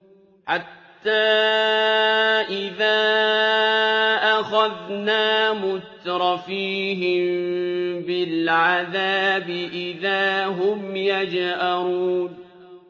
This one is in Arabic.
حَتَّىٰ إِذَا أَخَذْنَا مُتْرَفِيهِم بِالْعَذَابِ إِذَا هُمْ يَجْأَرُونَ